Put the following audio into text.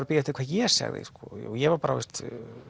beðið eftir hvað ég segði ég var bara